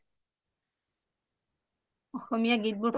অসমীয়া গীত বোৰ ভাল লাগে